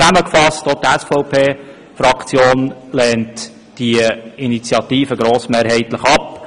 Zusammengefasst: Auch die SVP-Fraktion lehnt die Initiative grossmehrheitlich ab.